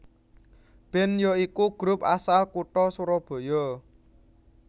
band ya iku grup asal kutha surabaya